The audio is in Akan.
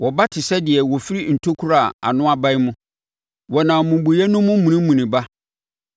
Wɔba te sɛ deɛ wɔfiri ntokuro a ano abae mu; wɔnam mmubuiɛ no mu munimuni ba.